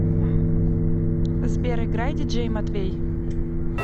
сбер играй диджей матвей